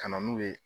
Ka na n'u ye